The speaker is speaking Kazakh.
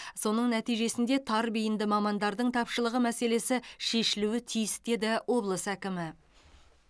соның нәтижесінде тар бейінді мамандардың тапшылығы мәселесі шешілуі тиіс деді облыс әкімі